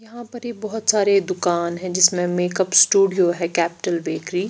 यहाँ पर ये बहुत सारे दुकान है जिसमे मेकप स्टूडियो है कैपिटल बेकरी ।